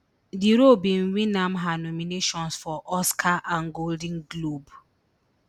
di role bin win am her nominations for oscar and golden globe